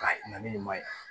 Ka hinɛ ni ma ɲa